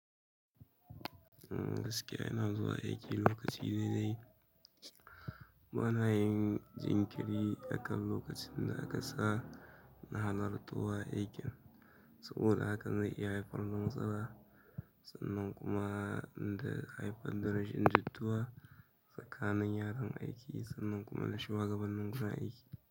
Gaskiya ina zuwa aiki lokaci daidai. Bana yin jinkiri akan lokacin da aka sa na halartar wurin aikin. Saboda haka zai iya haifar da matsala sannan kuma zai haifar da rashin jituwa tsakanin yaran aiki sannan kuma shugabanin wurin aiki.